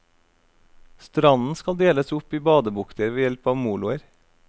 Stranden skal deles opp i badebukter ved hjelp av moloer.